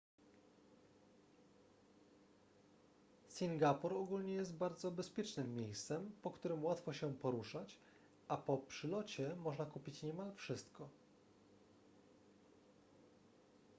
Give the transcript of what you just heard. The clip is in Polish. singapur ogólnie jest bardzo bezpiecznym miejscem po którym łatwo się poruszać a po przylocie można kupić niemal wszystko